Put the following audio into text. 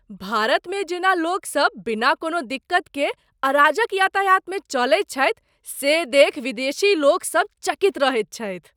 भारतमे जेना लोकसभ बिना कोनो दिक्कत के अराजक यातायातमे चलैत छथि से देखि विदेशीलोक सभ चकित रहैत छथि।